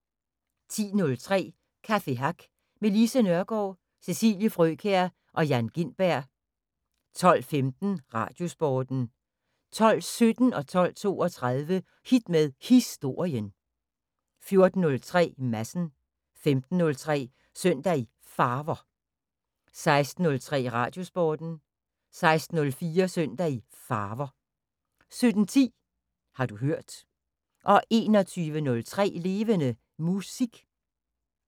10:03: Café Hack med Lise Nørgaard, Cecilie Frøkjær og Jan Gintberg 12:15: Radiosporten 12:17: Hit med Historien 12:32: Hit med Historien 14:03: Madsen 15:03: Søndag i Farver 16:03: Radiosporten 16:04: Søndag i Farver 17:10: Har du hørt 21:03: Levende Musik